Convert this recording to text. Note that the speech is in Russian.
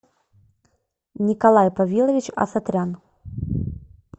николай повилович асатрян